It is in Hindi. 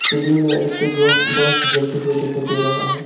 सीलिंग में इलेक्ट्रिक बफ बल्ब जलते हुए दिखाई दे रहा है।